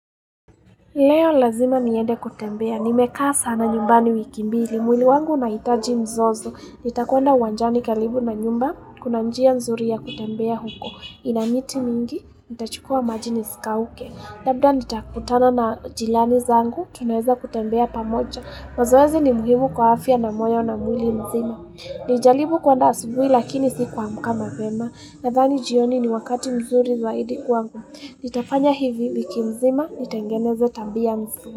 Leo lazima niende kutembea, nimekaa sana nyumbani wiki mbili, mwili wangu unahitaji mzozo, nitakuenda uwanjani karibu na nyumba, kuna njia mzuri ya kutembea huko, ina miti mingi, nitachukua maji nisikauke, labda nitakutana na jirani zangu, tunaweza kutembea pamoja, mazoezi ni muhimu kwa afya na moyo na mwili mzima. Nilijaribu kuenda asubuhi lakini sikuamka mapema Nadhani jioni ni wakati mzuri zaidi kwangu Nitafanya hivi wiki nzima, nitengeneze tabia mzuri.